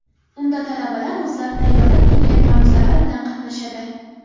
Unda talabalar o‘zlari tayyorlab kelgan ma’ruzalari bilan qatnashadi.